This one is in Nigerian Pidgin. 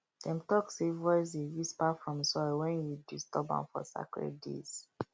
dem talk say voice dey whisper from soil when you disturb am for sacred days